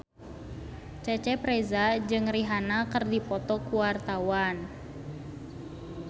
Cecep Reza jeung Rihanna keur dipoto ku wartawan